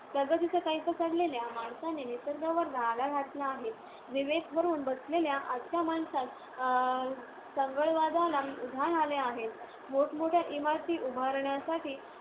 प्रगतीचा कैफ चढलेल्या माणसांनी निसर्गावर घाला घातला आहे. विवेक हरवून बसलेल्या आजच्या माणसांत अं चंगळवादाला उधाण आले आहे. मोठमोठ्या इमारती उभारण्यासाठी